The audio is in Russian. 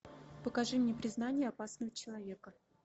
покажи мне признание опасного человека